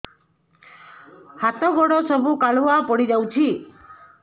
ହାତ ଗୋଡ ସବୁ କାଲୁଆ ପଡି ଯାଉଛି